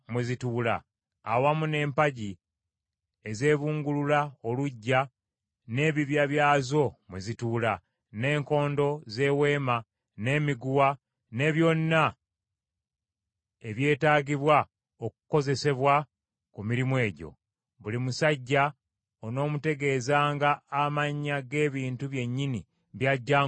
awamu n’empagi ezeebungulula oluggya n’ebibya byazo mwe zituula, n’enkondo z’eweema, n’emiguwa, ne byonna ebyetaagibwa okukozesebwa ku mirimu egyo. Buli musajja onoomutegeezanga amannya g’ebintu byennyini by’ajjanga okwetikka.